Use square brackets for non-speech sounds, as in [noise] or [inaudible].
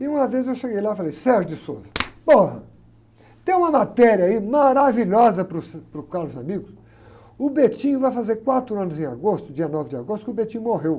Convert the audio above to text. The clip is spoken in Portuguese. E uma vez eu cheguei lá e falei, [unintelligible] tem uma matéria aí maravilhosa para o, [unintelligible] para o Caros Amigos, o [unintelligible] vai fazer quatro anos em agosto, dia nove de agosto, que o [unintelligible] morreu.